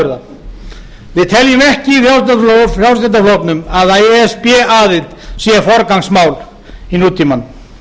afurða við teljum ekki í frjálslynda flokknum að e s b aðild sé forgangsmál í nútímanum